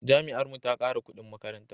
Jami'ar mu ta kara kudin makaranta